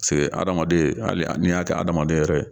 Pase hadamaden hali n'i y'a kɛ hadamaden yɛrɛ ye